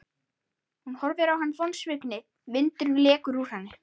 Hún horfir á hann vonsvikin, vindurinn lekur úr henni.